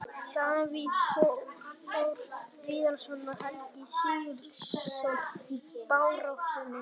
Davíð Þór Viðarsson og Helgi SIgurðsson í baráttunni.